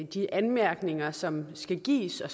de anmærkninger som skal gives og